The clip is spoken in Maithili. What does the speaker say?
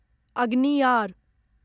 अग्नियार